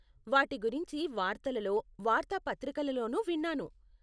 వారి గురించి వార్తలలో, వార్తాపత్రికలలోనూ విన్నాను.